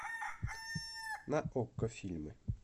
на окко фильмы